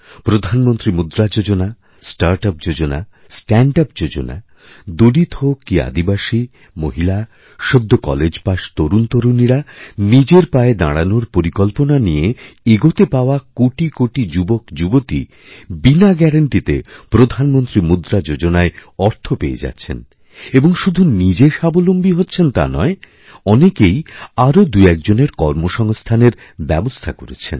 প্রধানমন্ত্রী মুদ্রা যোজনা স্টার্ট আপ যোজনাস্ট্যাণ্ড আপ যোজনা দলিত হোক কি আদিবাসী মহিলা সদ্য কলেজপাশ তরুণতরুণীরানিজের পায়ে দাঁড়ানোর পরিকল্পনা নিয়ে এগোতে পাওয়া কোটি কোটি যুবকযুবতী বিনাগ্যারাণ্টিতে প্রধানমন্ত্রী মুদ্রা যোজনায় অর্থ পেয়ে যাচ্ছেন এবং শুধু নিজেস্বাবলম্বী হচ্ছেন তা নয় অনেকেই আরও দুএকজনের কর্মসংস্থানের ব্যবস্থা করছেন